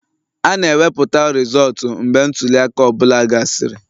A na-ewepụta rizọọtu mgbe ntuli aka ọ bụla gasịrị